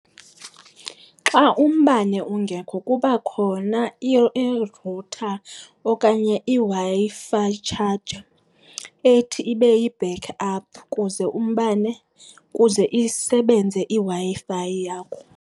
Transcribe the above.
Xa umbane ungekho kuba khona i-router okanye iWi-Fi charger ethi ibe yi-backup kuze umbane, kuze isebenze iWi-Fi yakho.